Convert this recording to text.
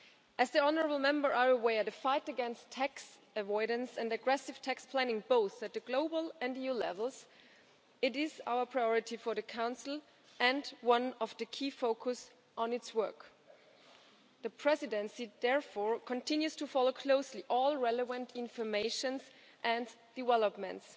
As the Honourable Members are aware, the fight against tax avoidance and aggressive tax planning both at global and EU levels is a priority for the Council and one of the key focuses of its work. The Presidency therefore continues to follow closely all relevant information and developments.